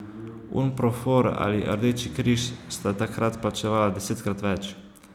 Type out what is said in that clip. Unprofor ali Rdeči križ sta takrat plačevala desetkrat več.